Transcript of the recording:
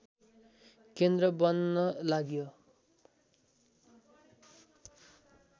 केन्द्र बन्न लाग्यो